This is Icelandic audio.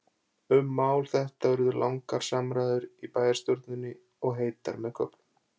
Um mál þetta urðu langar umræður í bæjarstjórninni, og heitar með köflum.